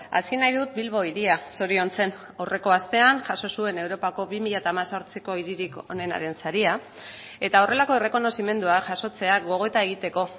hasi nahi dut bilbo hiria zoriontzen aurreko astean jaso zuen europako bi mila hemezortziko hiririk onenaren saria eta horrelako errekonozimendua jasotzea gogoeta egiteko